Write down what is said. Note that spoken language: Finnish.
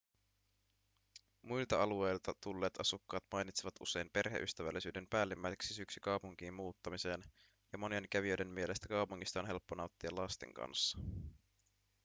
muilta alueilta tulleet asukkaat mainitsevat usein perheystävällisyyden päällimmäiseksi syyksi kaupunkiin muuttamiseen ja monien kävijöiden mielestä kaupungista on helppo nauttia lasten kanssa